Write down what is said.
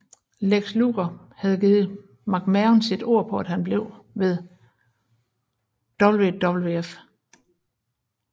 Lex Luger havde givet McMahon sit ord på at han blev ved WWF